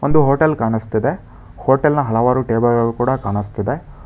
ಒಂದು ಹೋಟೆಲ್ ಕಾಣ್ಸುತ್ತಿದೆ ಹೊಟೇಲ್ನ ಹಲವರು ಟೇಬಲ್ಗಳು ಕೂಡ ಕಾಣಿಸುತ್ತಿದೆ.